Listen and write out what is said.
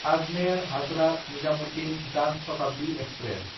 आजमेर–हाजरात निजामुद्दिन जान शताब्दि एक्सप्रेस